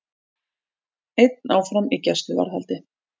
Einn áfram í gæsluvarðhaldi